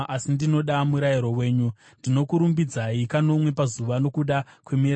Ndinokurumbidzai kanomwe pazuva, nokuda kwemirayiro yenyu yakarurama.